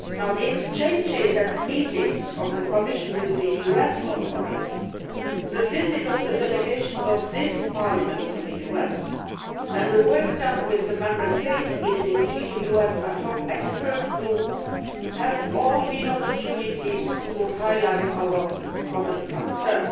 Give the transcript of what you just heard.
The exchanges and meetings of the Commission with the US authorities, the visits of the delegations of this Parliament to the US and the work done with the Member States in the EU US ad hoc expert group have all been opportunities to highlight our common concerns.